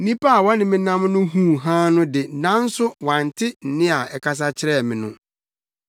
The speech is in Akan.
Nnipa a na wɔne me nam no huu hann no de, nanso wɔante nne a ɛkasa kyerɛɛ me no.